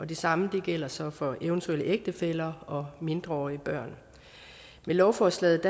det samme gælder så for eventuelle ægtefæller og mindreårige børn med lovforslaget